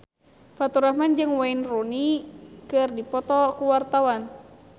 Faturrahman jeung Wayne Rooney keur dipoto ku wartawan